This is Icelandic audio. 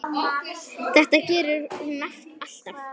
Þetta gerir hún alltaf.